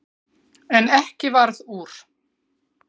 En ekki varð úr.